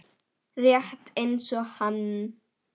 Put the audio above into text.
Rétt eins og hann.